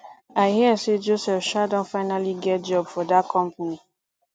i hear say joseph um don finally get job for dat company